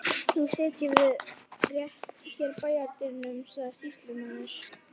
Nú setjum við rétt hér í bæjardyrum, sagði sýslumaður.